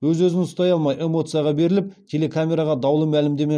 өз өзін ұстай алмай эмоцияға беріліп телекамераға даулы мәлімдеме